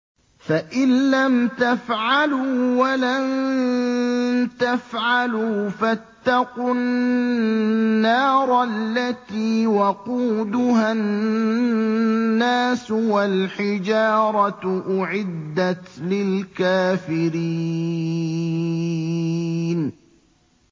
فَإِن لَّمْ تَفْعَلُوا وَلَن تَفْعَلُوا فَاتَّقُوا النَّارَ الَّتِي وَقُودُهَا النَّاسُ وَالْحِجَارَةُ ۖ أُعِدَّتْ لِلْكَافِرِينَ